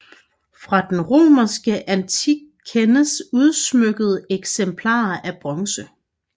Fra den romerske antik kendes udsmykkede eksemplarer af bronze